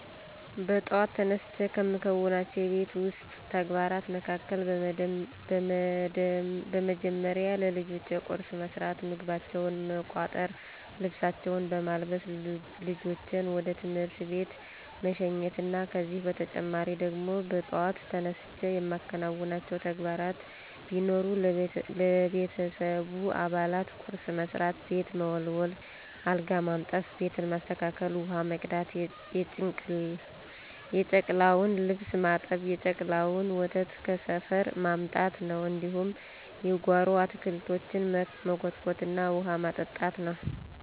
በጥዋት ተነስቸ ከምከውናቸው የቤት ዉስጥ ተግባራት መካከል፦ በመደመሪያ ለልጆቸ ቁርስ መስራት፣ ምግባቸውን መቋጠር፣ ልብሳቸውን በማልበስ ልጆችን ወደ ትምህርት ቤት መሸኘት ነው። ከዚህ በተጨማሪ ደግሞ በጧት ተነስቸ የማከናውናቸው ተግባራት ቢኖር ለቤተሰቡ አባላት ቁርስ መስራት፣ ቤት መወልወል፣ አልጋ ማንጠፋ፣ ቤትን ማስተካከል፣ ውሀ መቅዳት፣ የጨቅላዋን ልብስ ማጠብ፣ የጨቅላዋን ወተት ከሰፈር ማምጣት ነው፣ እንዲሁም የጓሮ አታክልቶችን መኮትኮትና ውሀ ማጠጣት ነው።